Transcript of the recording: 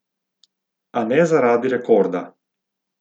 A ne zaradi rekorda.